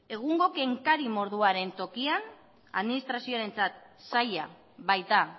egungo kenkari moduaren tokian administrazioarentzat zaila baita